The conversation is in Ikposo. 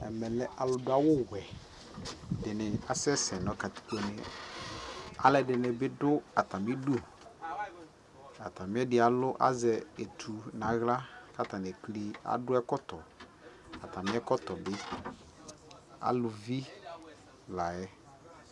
ɛmɛ lɛ alʋ dʋ awʋ wɛ, ɛdini asɛsɛ nʋkatikpɔ nɛ, alʋɛdini bi dʋ atami idʋ, atami ɛdi azɛ ɛtʋ nʋ ala kʋ adʋ ɛkɔtɔ, atami ɛkɔtɔ bɛ, alʋvi layɛ